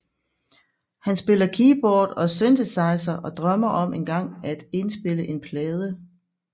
Han spiller keyboard og synthesizer og drømmer om engang at indspille en plade